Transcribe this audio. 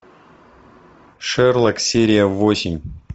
шерлок серия восемь